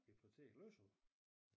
Bibliotek læser du?